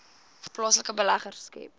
plaaslike beleggers skep